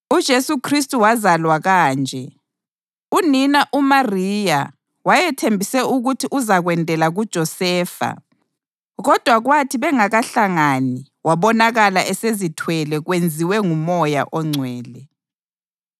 UJesu Khristu wazalwa kanje: Unina uMariya wayethembise ukuthi uzakwendela kuJosefa kodwa kwathi bengakahlangani wabonakala esezithwele kwenziwe ngoMoya oNgcwele.